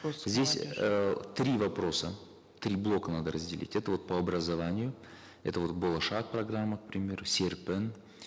здесь э три вопроса три блока надо разделить это вот по образованию это вот болашак программа к примеру серпін